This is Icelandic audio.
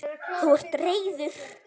Þú ert reiður.